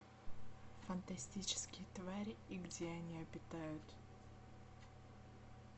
фантастические твари и где они обитают